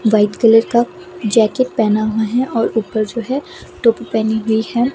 White colour का jacket पहेना हुआ हैं और ऊपर जो हैं टोपी पहनी हुई हैं।